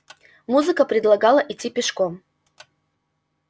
музыка предлагала идти пешком